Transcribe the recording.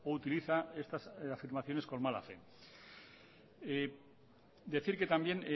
utiliza estas afirmaciones con mala fe decir que también